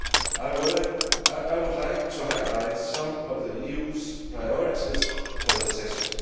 I would like to highlight some of the EU's priorities for the session.